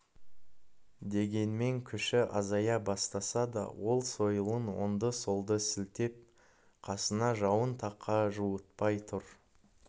дегенмен күші азая бастаса да ол сойылын оңды-солды сілтеп қасына жауын тақа жуытпай тұр